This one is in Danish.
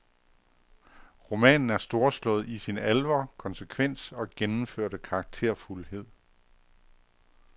Romanen er storslået i sin alvor, konsekvens og gennemførte karakterfuldhed.